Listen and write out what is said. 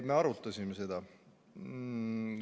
Me arutasime seda.